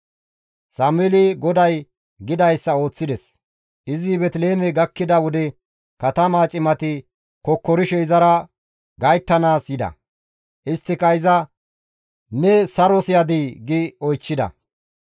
Sameeli GODAY gidayssa ooththides; izi Beeteliheeme gakkida wode katamaa cimati kokkorishe izara gayttanaas yida; isttika iza, «Ne saros yadii?» gi oychchida.